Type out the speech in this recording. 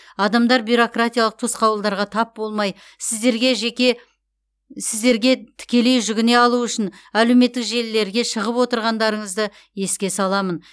адамдар бюрократиялық тосқауылдарға тап болмай сіздерге жеке сіздерге тікелей жүгіне алуы үшін әлеуметтік желілерге шығып отырғандарыңызды еске саламын